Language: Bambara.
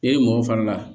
E ye mɔgɔ fara la